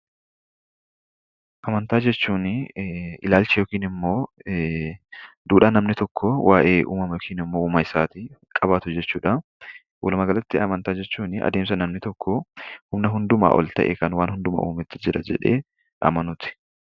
Amantaa jechuun duudhaa yookiin ilaalcha namni tokko uumamaa fi uumaa isaatiif qabaatu jechuudha. Walumaa galatti amantaa jechuun adeemsa namni tokko humna hundumaa ol ta'e uumama hundumaa uumetu jira jedhee amanuuti.